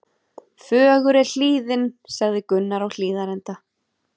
Fögur er hlíðin, sagði Gunnar á Hlíðarenda.